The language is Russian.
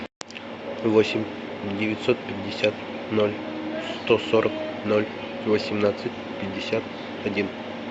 восемь девятьсот пятьдесят ноль сто сорок ноль восемнадцать пятьдесят один